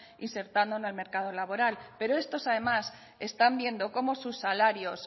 insertando en el mercado laboral pero estos además están viendo cómo sus salarios